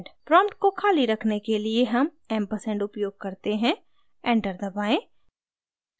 prompt को खाली रखने के लिए हम & ampersand उपयोग करते हैं enter दबाएँ